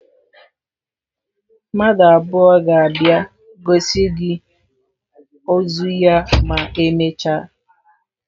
Mmadụ abụọ ga-abịa gosi gị ozu ya ma emechaa.